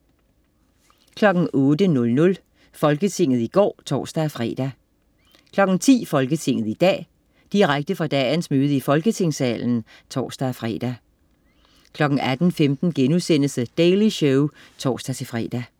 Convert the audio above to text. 08.00 Folketinget i går (tors-fre) 10.00 Folketinget i dag. Direkte fra dagens møde i Folketingssalen (tors-fre) 18.15 The Daily Show* (tors-fre)